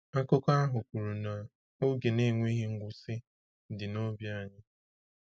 Akụkọ ahụ kwuru na “oge na-enweghị ngwụsị” dị n’obi anyị.